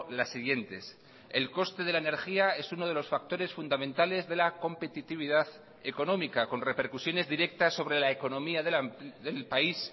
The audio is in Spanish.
las siguientes el coste de la energía es uno de los factores fundamentales de la competitividad económica con repercusiones directas sobre la economía del país